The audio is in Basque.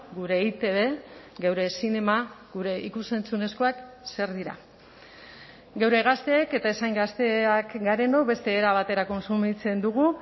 gure eitb geure zinema gure ikus entzunezkoak zer dira geure gazteek eta ez hain gazteak garenok beste era batera kontsumitzen dugu